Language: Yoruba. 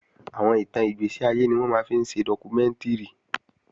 Àwọn ìtàn ìgbẹ̀séayé ni wọ́n máa ń fi ṣe dọ́kúmẹ́ǹtìrì